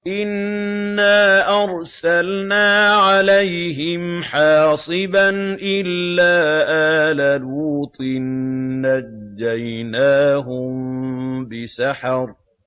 إِنَّا أَرْسَلْنَا عَلَيْهِمْ حَاصِبًا إِلَّا آلَ لُوطٍ ۖ نَّجَّيْنَاهُم بِسَحَرٍ